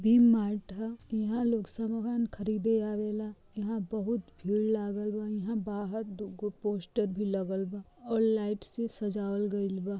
वि mart ह ईहाँ लोग सामान खरीदे आवेला ईहाँ बहुत भीड़ लागल बा ईहाँ बाहर दुगो पोस्टर भी लगल बा और लाइट से सजावल गइल बा।